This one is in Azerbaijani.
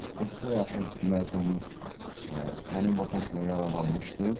30-a yaxın məzunumuz həmin vakansiyadan yararlanmışdır.